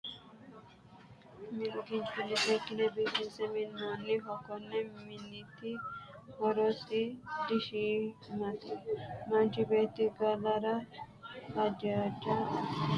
minnu kinchunni seekine biifinse minoonniho konni minniti horosi dishiimate manchi Beeti galara hahja asse mi'nninoho nafariranno higge moichu daanoki gedde hooweno kinchunni seeke hoopinno.